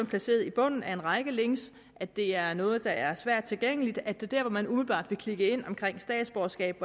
placeret i bunden af en række links at det er noget der er svært tilgængeligt at det dér hvor man umiddelbart ville klikke ind omkring statsborgerskab